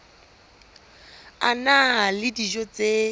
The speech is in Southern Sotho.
a na le dijo tse